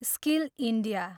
skill India